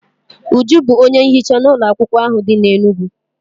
Uju bụ onye nhicha n'ụlọakwụkwọ ahụ dị n'Enugwu.